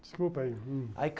Desculpa aí.